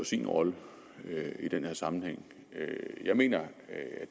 sin rolle i den her sammenhæng jeg mener at